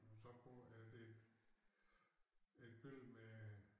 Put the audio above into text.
Men så på er det et billede med